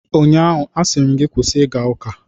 Ụnyaahụ, a sịrị m gị kwụsị ịga ụka!